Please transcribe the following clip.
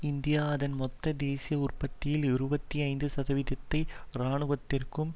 India அதன் மொத்த தேசிய உற்பத்தியில் இருபத்தி ஐந்து சதவீதத்தை இராணுவத்திற்கும்